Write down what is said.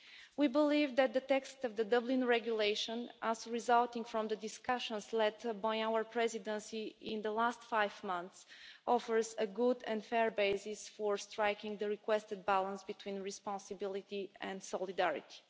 We believe that the text of the Dublin Regulation, resulting from the discussions led by our Presidency in the last five months, offers a good and fair basis for striking the requested balance between responsibility and solidarity.